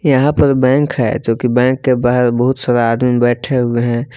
यहाँ पर बैंक है जोकि बैंक के बाहर बहुत सारा आदमी बैठे हुए हैं।